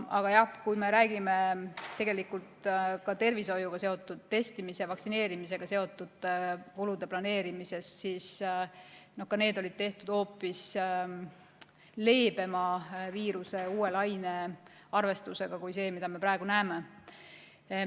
Aga jah, kui me räägime tervishoiuga seotud testimise ja vaktsineerimise kulude planeerimisest, siis ka need olid tehtud hoopis leebema uue laine arvestusega kui see, mida me praegu näeme.